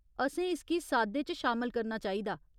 असें इसगी साद्दे च शामल करना चाहिदा।